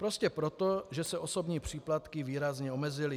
Prostě proto, že se osobní příplatky výrazně omezily.